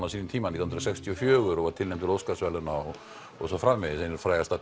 á sínum tíma nítján hundruð sextíu og fjögur og var tilnefnd til Óskarsverðlauna og svo framvegis ein frægasta